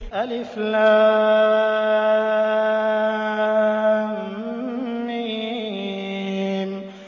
الم